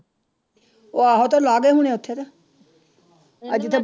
ਉਹ ਆਹੋ ਉਹ ਤੇ ਲਾ ਉੱਥੇ ਤਾਂ ਆ ਜਿੱਥੇ